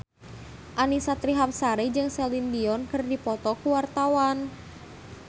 Annisa Trihapsari jeung Celine Dion keur dipoto ku wartawan